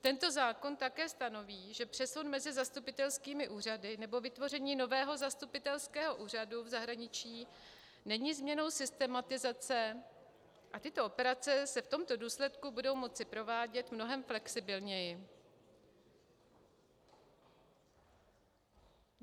Tento zákon také stanoví, že přesun mezi zastupitelskými úřady nebo vytvoření nového zastupitelského úřadu v zahraničí není změnou systematizace a tyto operace se v tomto důsledku budou moci provádět mnohem flexibilněji.